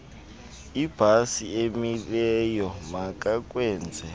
ibhasi emileyo makakwenze